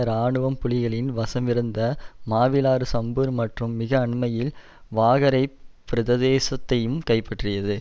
இராணுவம் புலிகளின் வசமிருந்த மாவிலாறு சம்பூர் மற்றும் மிக அண்மையில் வாகரைப் பிரதேசத்தையும் கைப்பற்றியது